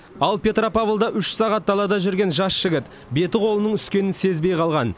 ал петропавлда үш сағат далада жүрген жас жігіт беті қолының үскенін сезбей қалған